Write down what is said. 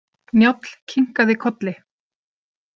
Njáll kinkaði kolli.